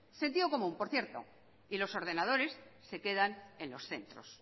sentido común por cierto y los ordenadores se quedan en los centros